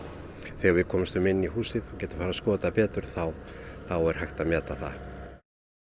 þegar við komumst inn í húsið þá er hægt að meta það